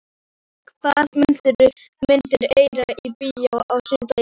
Máney, hvaða myndir eru í bíó á sunnudaginn?